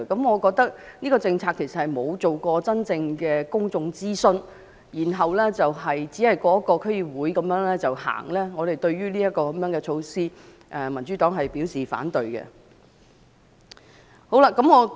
我認為這項政策沒有進行真正的公眾諮詢，只是區議會通過後便實行，對於這項措施，民主黨表示反對。